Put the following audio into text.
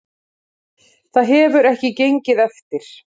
Það hefur ekki gengið eftir